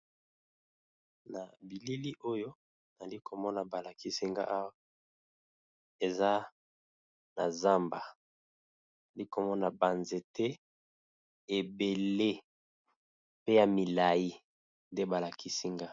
Na bilili oyo nali komona balakisinga swa eza na zamba, nali komona banzete ebele pe ya milai nde balakisi nga.